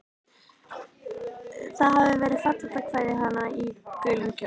Það hafði verið fallegt að kveðja hana í gulum kjól.